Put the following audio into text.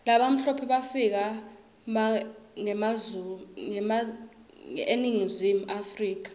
labamhlope bafika mga eningizimu africa